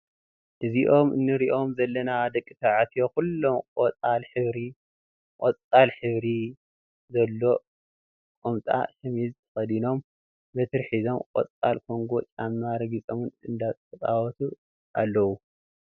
እዞም እንሪኦም ዘለና ደቂ ተባዕትዮ ኩሎም ቆጣል ሕብሪ ዘሎ ኮምጣን ሸሚዝን ተከዲኖም በትሪ ሒዞም ቆፃል ኮንጎ ጫማ ረጊፆም እንዳተፃወቱ ኣለው።